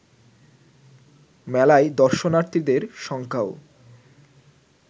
মেলায় দর্শনার্থীদের সংখ্যাও